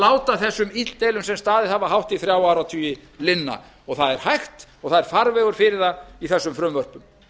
láta þessum illdeilum sem staðið hafa hátt í þrjá áratugi linna það er hægt og það er farvegur fyrir það í þessum frumvörpum